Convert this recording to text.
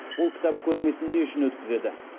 бұл кітап көрмесін не үшін өткізеді